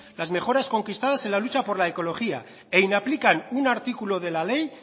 las mejoras conquistadas en la lucha por la ecología e inaplican un artículo de la ley